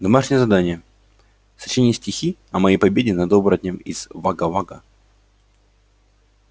домашнее задание сочинить стихи о моей победе над оборотнем из вага-вага